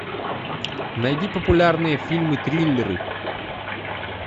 найди популярные фильмы триллеры